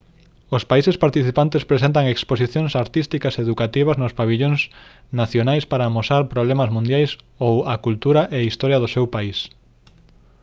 os países participantes presentan exposicións artísticas e educativas nos pavillóns nacionais para amosar problemas mundiais ou a cultura e historia do seu país